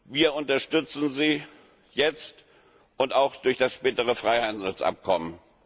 Wir unterstützen sie jetzt und auch durch das spätere Freihandelsabkommen.